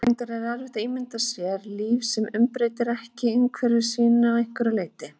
Reyndar er erfitt að ímynda sér líf sem umbreytir ekki umhverfi sínu að einhverju leyti.